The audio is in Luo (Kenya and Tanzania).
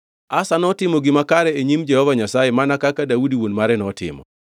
Asa notimo gima kare e nyim Jehova Nyasaye mana kaka Daudi wuon mare notimo.